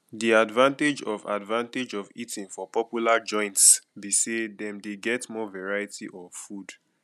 di advantage of advantage of eating for popular joints be say dem dey get more variety of food